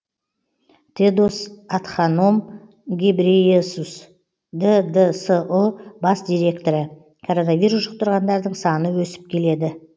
тедос адханом гебрейесус ддсұ бас директоры коронавирус жұқтырғандардың саны өсіп келеді